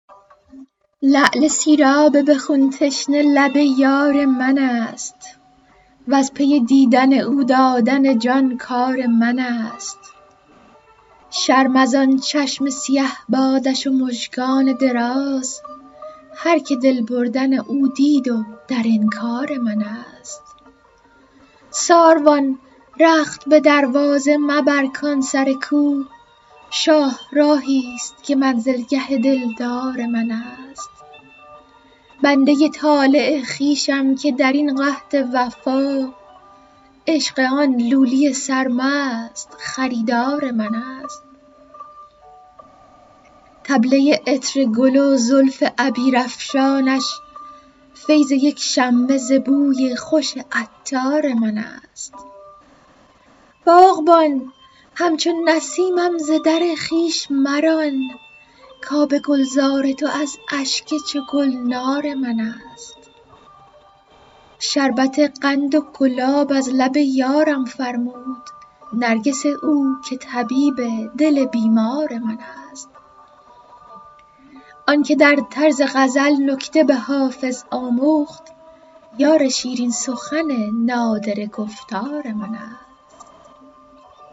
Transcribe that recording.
لعل سیراب به خون تشنه لب یار من است وز پی دیدن او دادن جان کار من است شرم از آن چشم سیه بادش و مژگان دراز هرکه دل بردن او دید و در انکار من است ساروان رخت به دروازه مبر کان سر کو شاهراهی ست که منزلگه دلدار من است بنده ی طالع خویشم که در این قحط وفا عشق آن لولی سرمست خریدار من است طبله ی عطر گل و زلف عبیرافشانش فیض یک شمه ز بوی خوش عطار من است باغبان همچو نسیمم ز در خویش مران کآب گلزار تو از اشک چو گلنار من است شربت قند و گلاب از لب یارم فرمود نرگس او که طبیب دل بیمار من است آن که در طرز غزل نکته به حافظ آموخت یار شیرین سخن نادره گفتار من است